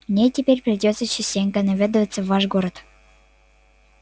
мне теперь придётся частенько наведываться в ваш город